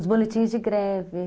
Os boletins de greve.